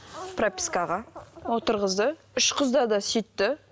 пропискаға отырғызды үш қызда да сөйтті